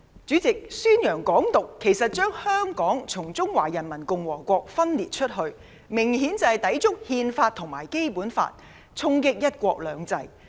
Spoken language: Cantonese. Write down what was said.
主席，宣揚"港獨"，將香港從中華人民共和國分裂出來，明顯抵觸《憲法》和《基本法》，衝擊"一國兩制"。